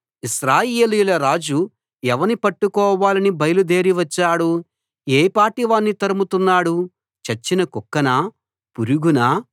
ఇశ్రాయేలీయుల రాజు ఎవని పట్టుకోవాలని బయలుదేరి వచ్చాడు ఏ పాటి వాణ్ణి తరుముతున్నాడు చచ్చిన కుక్కనా పురుగునా